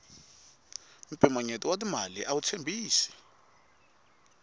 mpimanyeto wa timali awu tshembisi